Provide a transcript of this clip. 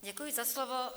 Děkuji za slovo.